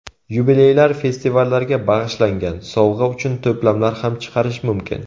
Yubileylar, festivallarga bag‘ishlangan, sovg‘a uchun to‘plamlar ham chiqarish mumkin.